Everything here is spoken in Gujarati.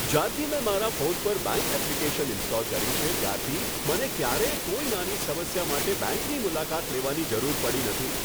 જ્યારથી મેં મારા ફોન પર બેંક એપ્લિકેશન ઈન્સ્ટોલ કરી છે, ત્યારથી મને ક્યારેય કોઈ નાની સમસ્યા માટે બેંકની મુલાકાત લેવાની જરૂર પડી નથી.